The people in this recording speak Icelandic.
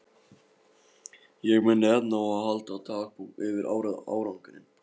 Ég minni enn á að halda dagbók yfir árangurinn.